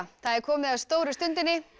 það er komið að stóru stundinni